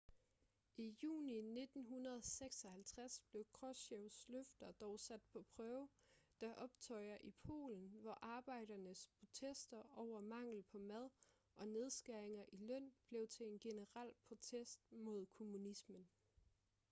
i juni 1956 blev krushchevs løfter dog sat på prøve da optøjer i polen hvor arbejdernes protester over mangel på mad og nedskæringer i løn blev til en generel protest mod kommunismen